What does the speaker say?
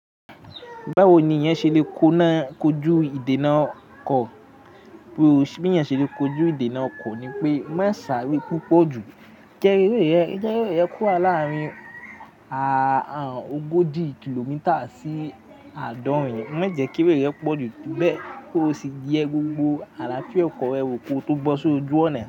Báwo ni eeyan ṣe lè kóna kojú ìdènà ọkọ̀? Bí eeyan ṣe lè kojú ìdènà ọkọ̀ ni pé, má sáré púpọ̀ jù. Jẹ́ ere re, je ere rẹ wa láàárín ogójì kìlómítà sí àádọ́rin, má jẹ́ kí eré rẹ pọ̀ jù, bẹ́ẹ̀ kí o sì yẹ gbogbo àlàáfíà ọkọ̀ rẹ wò kó tó bo sójú ọ̀nà.